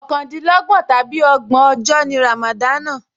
Ọ̀kàndínlọ́gbọ̀n tàbí ọgbọ̀n ọjọ́ ni ràmàdánà